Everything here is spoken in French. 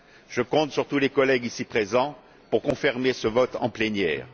Je compte sur tous les collègues ici présents pour confirmer ce vote en plénière.